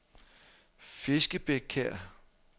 Fiskebækkær